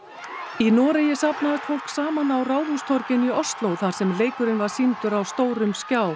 í Noregi safnaðist fólk saman á Ráðhústorginu í Ósló þar sem leikurinn var sýndur á stórum skjá